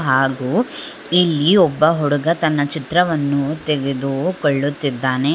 ಹಾಗು ಇಲ್ಲಿ ಒಬ್ಬ ಹುಡುಗ ತನ್ನ ಚಿತ್ರವನ್ನು ತೆಗೆದುಕೊಳ್ಳುತ್ತಿದ್ದಾನೆ